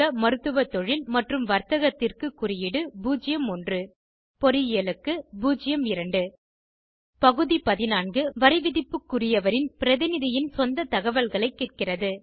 மருத்துவ தொழில் மற்றும் வர்த்தகத்திற்கு குறியீடு 01 பொறியியலுக்கு 02 பகுதி 14 வரிவிதிப்புக்குரியவரின் பிரதிநிதியின் சொந்த தகவல்களைக் கேட்கிறது